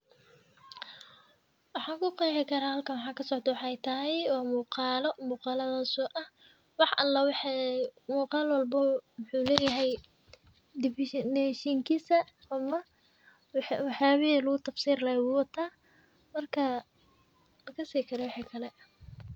Waxa kuqexi kara halkan waxa kascdo wexey tahay wa muqalo kaas ah wexey qulal walbo wuxu leyahay definision oo wuxu lugutafsiri laha marka makasayi wixi kale.